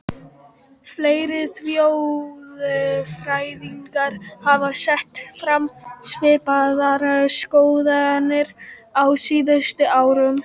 Fleiri þjóðfræðingar hafa sett fram svipaðar skoðanir á síðustu árum.